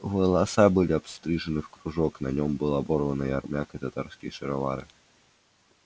волоса были обстрижены в кружок на нём был оборванный армяк и татарские шаровары